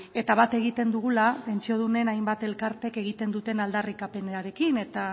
eta bat egiten dugula pentsiodunen hainbat elkarteek egiten duten aldarrikapenarekin eta